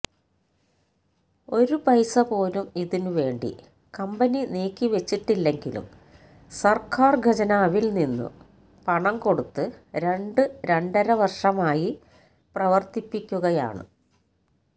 ഒരു പൈസപോലും ഇതിനു വേണ്ടി കമ്പനി നീക്കിവെച്ചിട്ടില്ലെങ്കിലും സര്ക്കാര് ഖജനാവില് നിന്നും പണം കൊടുത്ത് രണ്ട് രണ്ടരവര്ഷമായി പ്രവര്ത്തിപ്പിക്കുകയാണ്